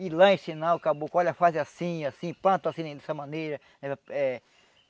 Ir lá ensinar o caboclo, olha faz assim, assim, planta assim, dessa maneira eh.